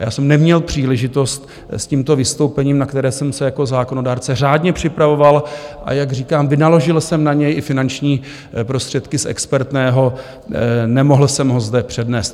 A já jsem neměl příležitost s tímto vystoupením, na které jsem se jako zákonodárce řádně připravoval, a jak říkám, vynaložil jsem na něj i finanční prostředky z expertného, nemohl jsem ho zde přednést.